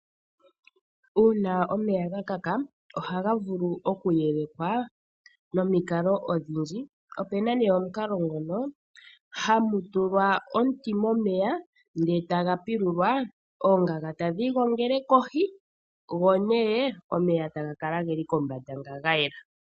Uuna omeya gakaka, ohaga vulu oku yelekwa nomikalo odhindji. Opuna omukalo gumwe hamu tulwa omuti, oongaga tadhi igongele kohi, go omeya taga kala geli kombanda ga yela.